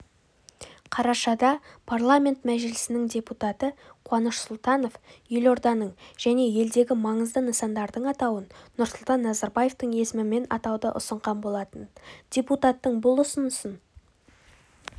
қарашада парламент мәжілісінің депутаты қуаныш сұлтанов елорданың және елдегі маңызды нысандардың атауын нұрсұлтан назарбаевтың есімімен атауды ұсынған болатын депутаттың бұл ұсынысын